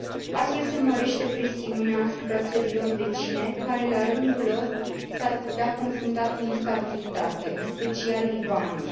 Astfel, se mărește presiunea asupra țărilor vecine, care, la rândul lor, s ar putea confrunta cu instabilitate, în special Libanul.